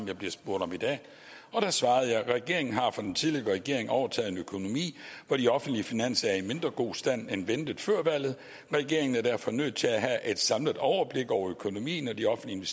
jeg bliver spurgt om i dag da svarede jeg regeringen har fra den tidligere regering overtaget en økonomi hvor de offentlige finanser er i mindre god stand end ventet før valget regeringen er derfor nødt til at have et samlet overblik over økonomien og de offentlige